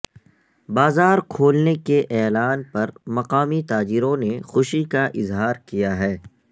بازار کھولنے کے اعلان پر مقامی تاجروں نے خوشی کا اظہار کیا ہے